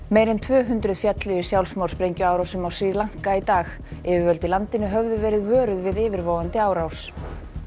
meira en tvö hundruð féllu í sjálfsmorðssprengjuárásum á Sri Lanka í dag yfirvöld í landinu höfðu verið vöruð við yfirvofandi árás